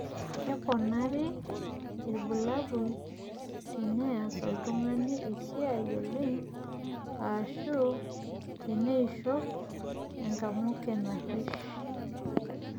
keponari irbulabol teneas oltungani esiai oleng ashu teneishop enkamuke narish